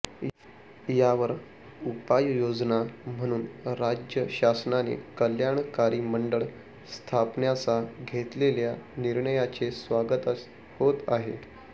यावर उपाययोजना म्हणून राज्य शासनाने कल्याणकारी मंडळ स्थापण्याचा घेतलेल्या निर्णयाचे स्वागतच होत आहे